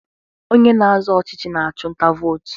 Onye na-azọ ọchịchị na-achụ nta vootu.